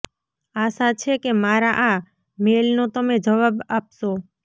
આશા છે કે મારા આ મેઇલનો તમે જવાબ આપશો